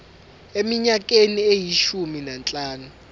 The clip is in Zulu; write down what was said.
eminyakeni eyishumi nanhlanu